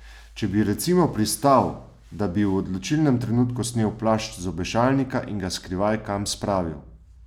Če bi recimo pristal, da bi v odločilnem trenutku snel plašč z obešalnika in ga skrivaj kam spravil?